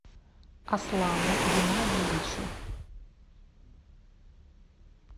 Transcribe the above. аслану геннадьевичу